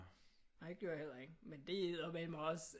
Nej det gjorde jeg heller ikke men det er eddermame også